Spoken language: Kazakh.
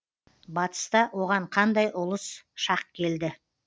батыста оған қандай ұлыс шақ келді